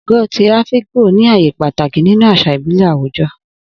Ogo ti Afikpo ní ààyè pàtàkì nínú àṣà ìbílẹ̀ àwùjọ.